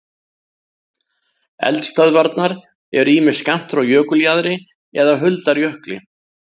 Eldstöðvarnar eru ýmist skammt frá jökuljaðri eða huldar jökli.